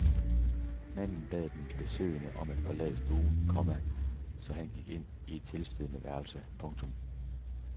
Manden bad den besøgende om at forlade stuen, komma så han gik ind i et tilstødende værelse. punktum